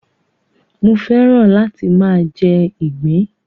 Mo fẹ́ràn láti máa jẹ ìgbín.